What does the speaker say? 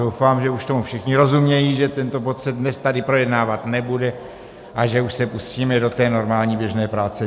Doufám, že už tomu všichni rozumějí, že tento bod se dnes tady projednávat nebude a že už se pustíme do té normální běžné práce.